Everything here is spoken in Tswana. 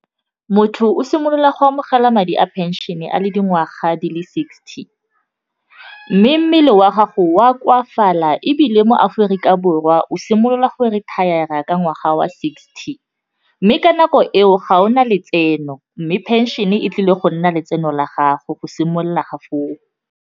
Motho o simolola go amogela madi a phenšene a le dingwaga di le sixty, mme mmele wa gago wa koafala ebile mo Aforika Borwa o simolola gore retire-ra ka ngwaga wa sixty mme ka nako eo ga o na letseno mme phenšene e tlile go nna letseno la gago go simolola ga foo.